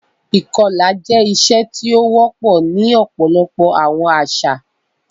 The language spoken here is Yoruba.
Ìkọla jẹ iṣe ti ó wọpọ ni ọpọlọpọ àwọn àṣà